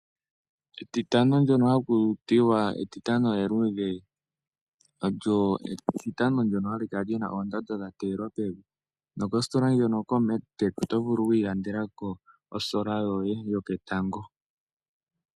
Etitano ndyoka haku tiwa Etitano eluudhe olyo Etitano ndyoka li na oondando dha teelwa pevi. Moositola ndjono koMega Tech oto vulu wi ilandele ko olusheno lwoye lwoketango .